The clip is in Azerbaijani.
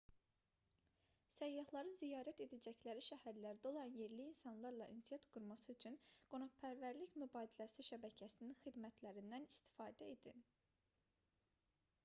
səyyahların ziyarət edəcəkləri şəhərlərdə olan yerli insanlarla ünsiyyət qurması üçün qonaqpərvərlik mübadiləsi şəbəkəsinin xidmətlərindən istifadə edin